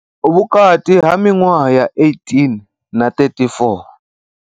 Vhukati ha miṅwaha ya 18 na 34.